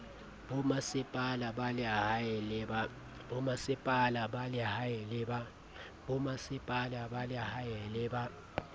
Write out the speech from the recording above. bomasepala ba lehae le ba